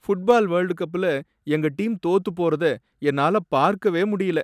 Football world கப்ல எங்க team தோத்து போறத என்னால பார்க்கவே முடியல.